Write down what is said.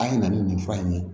A ye na ni nin fura in ye